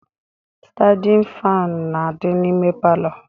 Standin faanụ na-adị n'ime palọ